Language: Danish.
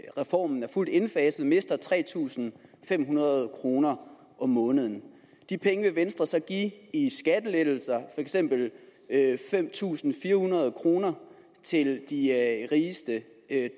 reformen er fuldt indfaset mister tre tusind fem hundrede kroner om måneden de penge vil venstre så give i skattelettelser eksempel fem tusind fire hundrede kroner til de rigeste